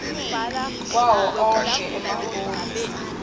wawo onkhe emafomu